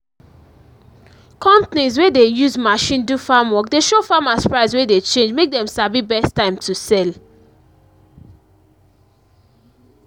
companies wey dey use machine do farm work dey show farmers price wey dey change mak dem sabi best time to sell